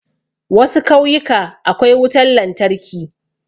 Wasu kauyuka akwai wutan lantarki